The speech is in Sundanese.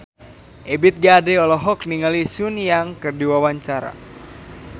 Ebith G. Ade olohok ningali Sun Yang keur diwawancara